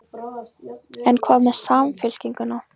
En hvað með Samfylkinguna?